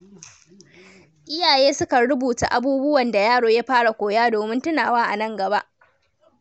Iyaye sukan rubuta abubuwan da yaro ya fara koya domin tunawa a nan gaba.